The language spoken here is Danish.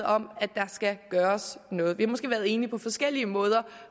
om at der skal gøres noget vi har måske været enige på forskellige måder